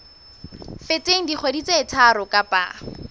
feteng dikgwedi tse tharo kapa